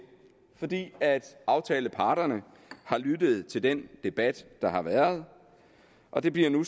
fordi aftaleparterne har lyttet til den debat der har været og det bliver nu